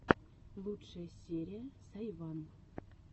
лучшая серия сайван